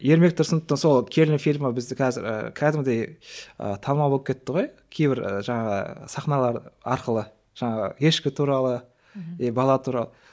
ермек тұрсыновтың сол келін фильмі бізді қазір ы кәдімгідей ы танымал болып кетті ғой кейбір жаңағы сахналары арқылы жаңағы ешкі туралы и бала туралы